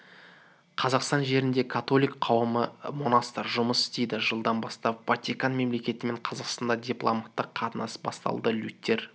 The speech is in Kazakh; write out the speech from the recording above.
қазақстан жерінде католик қауымы монастырь жұмыс істейді жылдан бастап ватикан мемлекетімен қазақстан дипломатты қатынасы басталды лютер